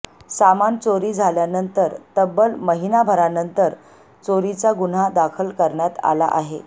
सामान चोरी झाल्यानंतर तब्बल महिनाभरानंतर चोरीचा गुन्हा दाखल करण्यात आला आहे